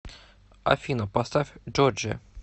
афина поставь джорджия